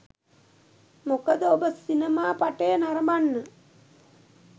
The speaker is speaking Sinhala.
මොකද ඔබ සිනමා පටය නරඹන්න